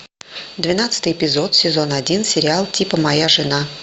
двенадцатый эпизод сезон один сериал типа моя жена